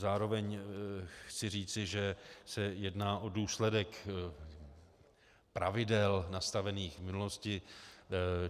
Zároveň chci říci, že se jedná o důsledek pravidel nastavených v minulosti.